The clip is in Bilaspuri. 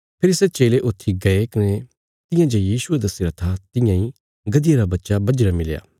फेरी सै चेले ऊथी गये कने तियां जे यीशुये दस्सीरा था तियां इ गधिया रा बच्चा बझीरा मिलया